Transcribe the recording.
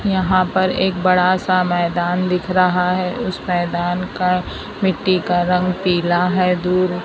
यहां पर एक बड़ा सा मैदान दिख रहा है उस मैदान का मिट्टी का रंग पीला है दूर--